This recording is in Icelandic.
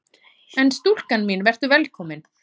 En stúlka mín: Vertu velkomin!